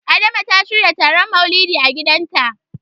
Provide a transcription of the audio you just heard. Adama ta shirya taron Maulidi a gidanta.